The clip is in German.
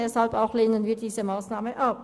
Deshalb lehnen wir auch diese Massnahme ab.